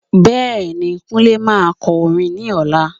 Bẹ́ẹ̀ni, Kunle máa kọ orin ní ọ̀la?